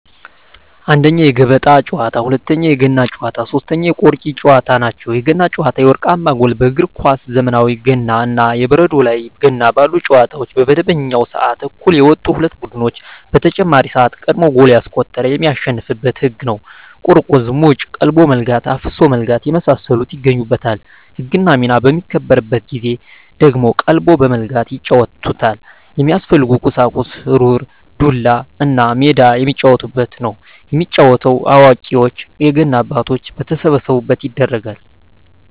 1ኛ, የገበጣ ጨዋታ, 2ኛ, የገና ጨዋታ, 3ኛ የቆርኪ ጨዋታ ናቸው። የገና ጨዋታ የወርቃማ ጎል በእግር ኳስ ዘመናዊ ገና እና የበረዶ ላይ ገና ባሉ ጨዋታዎች በመደበኛው ስዓት እኩል የወጡ ሁለት ቡድኖች በተጨማሪ ስዓት ቀድሞ ጎል ያስቆጠረ የሚያሸንፋበት ህግ ነው ቁርቁዝ ሙጭ ,ቀልቦ መለጋት ,አፍሶ መለጋት የመሳሰሉት ይገኙበታል። ህግና ሚና በሚከበርበት ጊዜ ደግሞ ቀልቦ በመለጋት ይጫወቱታል። የሚያስፈልጉ ቁሳቁስ ሩር, ዱላ, እና ሜዳ የሚጫወቱበት። የሚጫወተው አዋቂዎች የገና አባቶች በተሰበሰቡበት ይደረጋል።